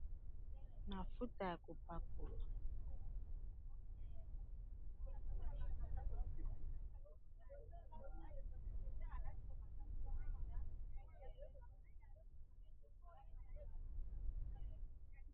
mafuta. mafuta ya kopakola